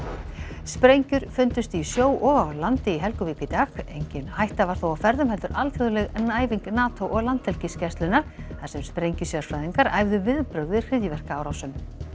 sprengjur fundust í sjó og á landi í Helguvík í dag engin hætta var þó á ferðum heldur alþjóðleg æfing NATO og Landhelgisgæslunnar þar sem sprengjusérfræðingar æfðu viðbrögð við hryðjuverkaárásum